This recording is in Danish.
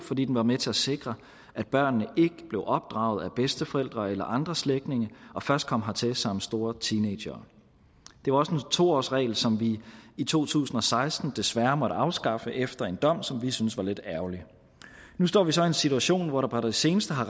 fordi den var med til at sikre at børnene ikke blev opdraget af bedsteforældre eller andre slægtninge og først kom hertil som store teenagere det var også en to årsregel som vi i to tusind og seksten desværre måtte afskaffe efter en dom som vi syntes var lidt ærgerlig nu står vi så i en situation hvor der på det seneste har